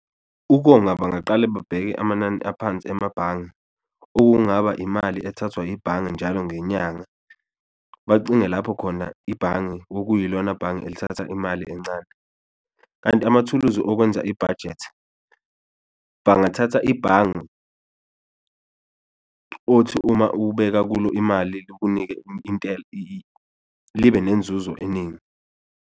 Ukonga bangaqale babheke amanani aphansi amabhange, okungaba imali ethathwa yibhange njalo ngenyanga, bacinge lapho khona ibhange okuyilona bhange elithatha imali encane. Kanti amathuluzi okwenza ibhajethi, bangathatha ibhange othi uma ubeka kulo imali likunike libe nenzuzo eningi.